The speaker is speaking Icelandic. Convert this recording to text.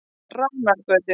Ránargötu